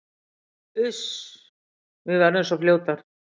Uss, við verðum svo fljótar